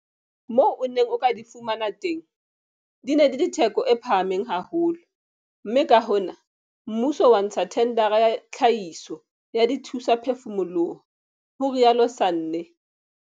Moo o neng o ka di fumana teng, di ne di le theko e phahameng haholo mme ka hona mmuso wa ntsha thendara ya tlhahiso ya dithusaphefumoloho, ho rialo Sanne.